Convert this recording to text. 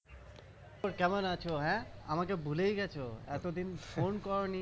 তারপর কেমন আছো হ্যাঁ? আমাকে ভুলেই গেছো এতদিন ফোন করোনি